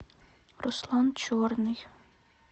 руслан черный